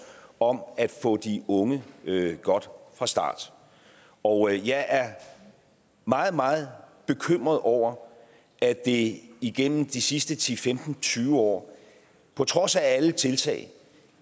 om at få de unge godt fra start og jeg er meget meget bekymret over at det gennem de sidste ti femten tyve år på trods af alle tiltag